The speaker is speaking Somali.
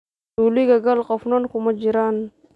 Zuulika kaal qofnan kumajiran.